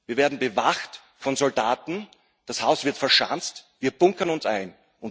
Wir werden bewacht von Soldaten, das Haus wird verschanzt, wir bunkern uns ein.